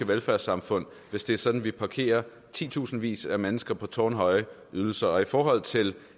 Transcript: velfærdssamfund hvis det er sådan at vi parkerer titusindvis af mennesker på tårnhøje ydelser i forhold til